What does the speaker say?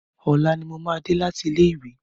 Ọ̀la ni mo máa dé láti ilé ìwé.